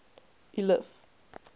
eliff